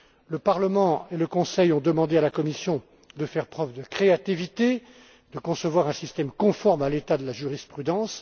encore. Le Parlement et le Conseil ont demandé à la Commission de faire preuve de créativité, de concevoir un système conforme à l'état de la jurisprudence.